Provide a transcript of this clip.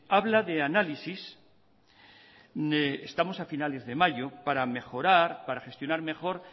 habla de análisis estamos a finales de mayo para mejorar para gestionar mejor